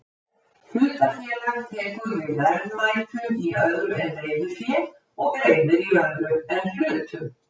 Hlutafélag tekur við verðmætum í öðru en reiðufé og greiðir í öðru en hlutum.